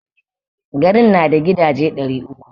Garin na da gidaje ɗari uku.